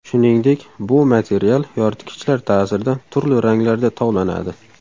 Shuningdek, bu material yoritgichlar ta’sirida turli ranglarda tovlanadi.